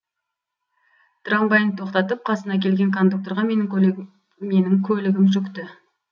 трамвайын тоқтатып қасына келген кондукторға менің көлігім жүкті